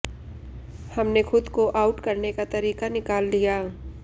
हमने खुद को आउट करने का तरीका निकाल लिया